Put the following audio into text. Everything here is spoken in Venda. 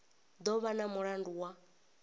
do vha na mulandu wa